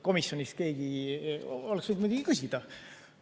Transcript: Komisjonis keegi oleks võinud muidugi küsida.